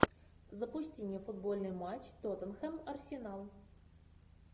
запусти мне футбольный матч тоттенхэм арсенал